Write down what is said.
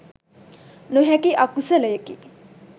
නොහැකි අකුසලයකි.